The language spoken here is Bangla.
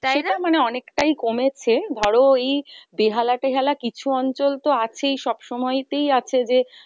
মানে অনেকটাই কমেছে ধরো এই বেহালা তেহালা কিছু অঞ্চল তো আছেই সব সময়ই তেই আছে যে,